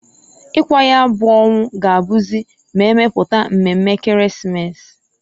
Ikwa nya bu onwu ga-abuzi m'emeputa mmeme Ekeresimesi.